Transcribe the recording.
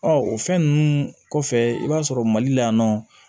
o fɛn ninnu kɔfɛ i b'a sɔrɔ mali la yan nɔ